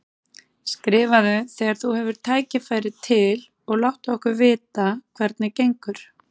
Skrifaðu þegar þú hefur tækifæri til og láttu okkur vita hvernig gengur.